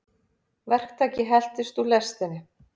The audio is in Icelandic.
Verktaki heltist úr lestinni